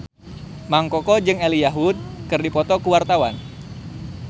Mang Koko jeung Elijah Wood keur dipoto ku wartawan